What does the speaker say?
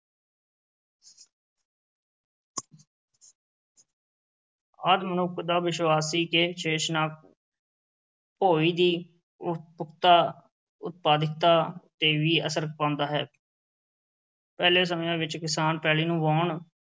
ਆਦਿ ਮਨੁੱਖ ਦਾ ਵਿਸ਼ਵਾਸ ਸੀ ਕਿ ਸ਼ੇਸ਼ਨਾਗ ਭੋਇੰ ਦੀ ਉਤਪਾਦਿਕਤਾ ਤੇ ਵੀ ਅਸਰ ਪਾਉਂਦਾ ਹੈ ਪਹਿਲੇ ਸਮਿਆਂ ਵਿੱਚ ਕਿਸਾਨ ਪੈਲੀ ਨੂੰ ਵਾਹੁਣ,